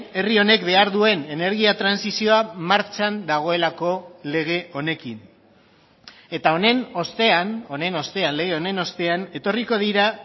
herri honek behar duen energia trantsizioa martxan dagoelako lege honekin eta honen ostean honen ostean lege honen ostean etorriko dira